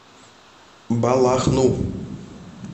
балахну